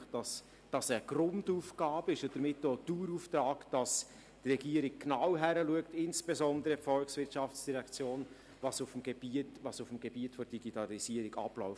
Es ist eine Grundaufgabe und damit auch ein Dauerauftrag an die Regierung, insbesondere an die VOL, genauer hinzuschauen, was auf dem Gebiet der Digitalisierung abläuft.